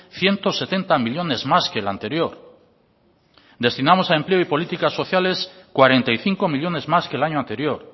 ciento setenta millónes más que el anterior destinamos a empleo y políticas sociales cuarenta y cinco millónes más que el año anterior